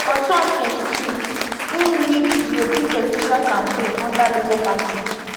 for 2022 im lead di obi presidential campaign under labour party